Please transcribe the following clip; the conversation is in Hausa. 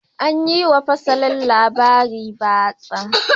An yi wa fasalin labaran batsa.